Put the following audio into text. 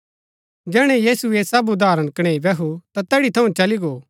जैहणै यीशु ऐह सब उदाहरण कणैई बैहु ता तैड़ी थऊँ चली गो